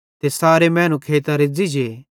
ते सारे मैनू खेइतां रेज़्ज़ी जे